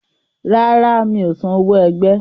Rárá, mi ò san owó ẹgbẹ́.